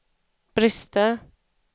brister